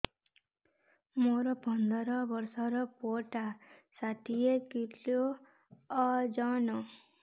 ମୋର ପନ୍ଦର ଵର୍ଷର ପୁଅ ଟା ଷାଠିଏ କିଲୋ ଅଜନ